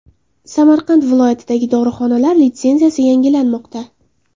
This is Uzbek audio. Samarqand viloyatidagi dorixonalar litsenziyasi yangilanmoqda.